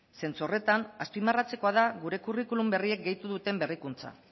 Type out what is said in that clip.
zentzu horretan azpimarratzekoa da gure kurrikulum berriek gehitu duten berrikuntza